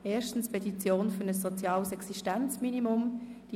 Erstens: Die «Petition für ein soziales Existenzminimum [